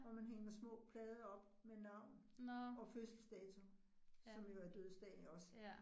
Hvor man hænger små plader op med navn og fødselsdato, som jo er dødsdagen også